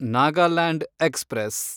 Nagaland express